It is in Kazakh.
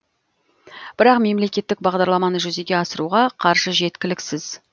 бірақ мемлекеттік бағдарламаны жүзеге асыруға қаржы жеткіліксіз